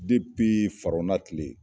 tile.